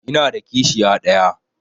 Ina da kishiya ɗaya.